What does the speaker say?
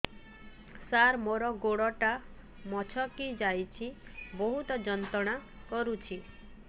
ସାର ମୋର ଗୋଡ ଟା ମଛକି ଯାଇଛି ବହୁତ ଯନ୍ତ୍ରଣା କରୁଛି